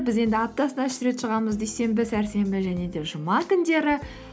біз енді аптасына үш рет шығамыз дүйсенбі сәрсенбі және де жұма күндері